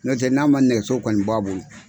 Nɔtɛ n'a ma nɛgɛso kɔni bɔ a bolo.